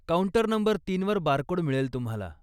Counter number तीनवर barcode मिळेल तुम्हाला.